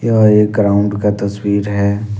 यह एक ग्राउंड का तस्वीर है।